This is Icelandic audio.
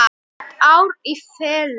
Heilt ár í felum.